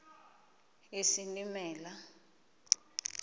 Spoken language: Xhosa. isilimela